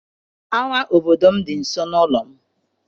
Ama obodo m dị nso n'ụlọ m.